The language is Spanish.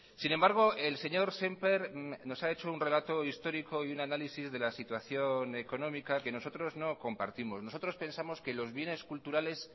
sin embargo el señor sémper nos ha hecho un relato histórico y un análisis de la situación económica que nosotros no compartimos nosotros pensamos que los bienes culturales